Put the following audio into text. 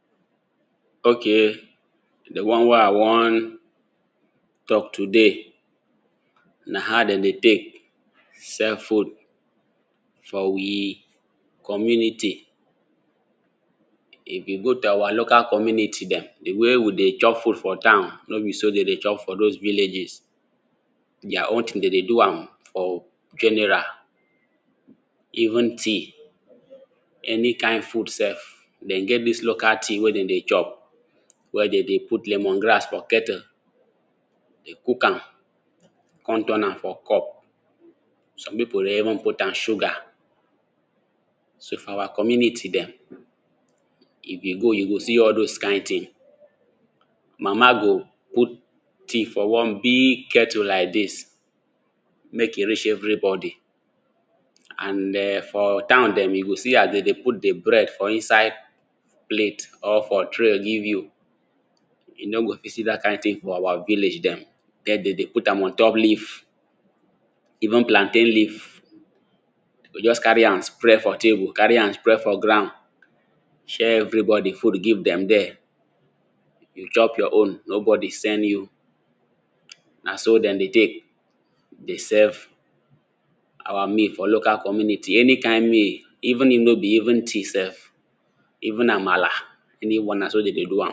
Okay di one wey I wan talk today na how dey dey take sell food for we community, if you go to our local community dem di way we dey chop food for town no be so dey dey chop for dose villages, dia own tin dey dey do am for general even tea any kind food sef, dey get dis local tea wey dem dey chop, wey dem dey put lemon grass for kettle cook am kon turn am for cup, some pipu dey even put am sugar so for our community dem if you go you go see all dose kind tin, mama go put tea for one big kettle like dis make e reach everybody and for town dem you go see as dey dey put di bread for inside plate or for tray give you, you no go fit see dat kind tin for our village dem, dem dey dey put am ontop leave even plantain leave dey go just carry am spread for table carry am spread for ground share everybody food give dem dere, you chop your own nobody send you, na so dem dey dey, dey serve our meal for local Community any kind meal even if no be only tea sef, even amala anyone na so dem dey do am.